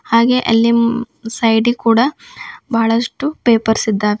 ಹಾಗೆ ಅಲ್ಲಿ ಮ ಸೈಡಿಗ್ ಕೂಡ ಬಹಳಷ್ಟು ಪೇಪರ್ಸ್ ಇದ್ದಾವೆ.